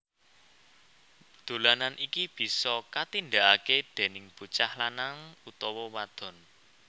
Dolanan iki bisa katindakake déning bocah lanang utawa wadon